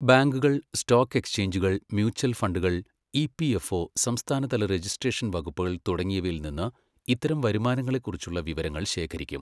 ബാങ്കുകൾ, സ്റ്റോക്ക് എക്സ്ചേഞ്ചുകൾ, മ്യൂച്ചൽ ഫണ്ടുകൾ, ഇപിഎഫ്ഒ, സംസ്ഥാനതല രജിസ്ട്രേഷൻ വകുപ്പുകൾ തുടങ്ങിയവയിൽ നിന്ന് ഇത്തരം വരുമാനങ്ങളെക്കുറിച്ചുള്ള വിവരങ്ങൾ ശേഖരിക്കും.